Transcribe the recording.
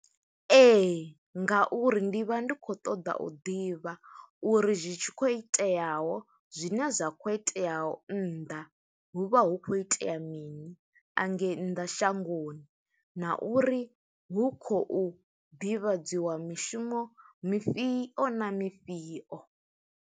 Ee. ngauri ndi vha ndi khou ṱoḓa u ḓivha, uri zwi tshi khou iteaho, zwine zwa khou iteaho nnḓa. Hu vha hu khou itea ya mini, angei nnḓa shangoni. na uri hu khou ḓivhadziwa mishumo mifhio na mifhio.